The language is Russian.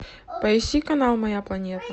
поищи канал моя планета